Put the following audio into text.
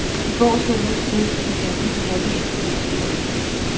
I går så det ud til, at der bliver en happy end på historien.